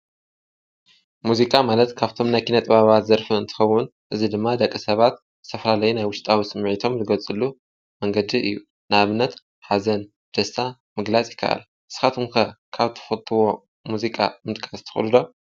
ሙዚቃ ማለት ካብቶም ናይ ኪነ ጥባባት ዘርፊ እንትኸዉን እዝ ድማ ደቀ ሰባት ዝተፈላለየ ናይ ውሽጣዊ ስምዒቶም ዝጐልጽሉ መንገዲ እዩ። ንኣብነት ሓዘን፣ ደስታ ምግላጽ ይከኣል። ንስኻትኩን ከ ካብ ትፈትዎ ሙዚቃ ምጥቃስ ትክእሉ ዶ?